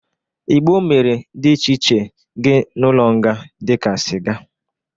Igbo mere dị iche iche gị n'ụlọnga dị ka sịga.